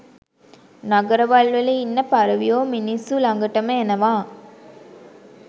නගරවල් වල ඉන්න පරවියෝ මිනිස්සු ළඟටම එනවා.